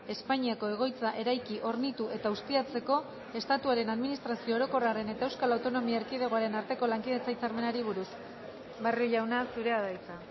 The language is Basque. espainiako egoitza eraiki hornitu eta ustiatzeko estatuaren administrazio orokorraren eta euskal autonomia erkidegoaren arteko lankidetza hitzarmenari buruz barrio jauna zurea da hitza